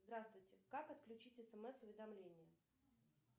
здравствуйте как отключить смс уведомления